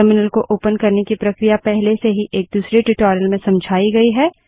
terminal को open करने की प्रक्रिया पहले से ही एक दूसरे ट्यूटोरियल में समझाई गयी है